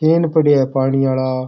केन पड़ा है पानी आला।